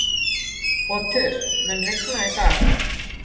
Otur, mun rigna í dag?